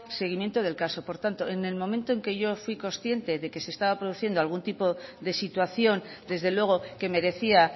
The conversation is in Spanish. seguimiento del caso por tanto en el momento en que yo fui consciente de que se estaba produciendo algún tipo de situación desde luego que merecía